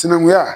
Sinankunya